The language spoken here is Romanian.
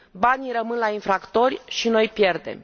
Banii rămân la infractori și noi pierdem.